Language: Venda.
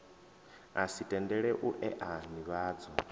si tendele u ea nivhadzo